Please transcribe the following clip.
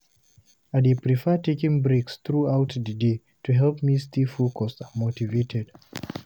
I dey prefer taking short breaks throughout the day to help me stay focused and motivated.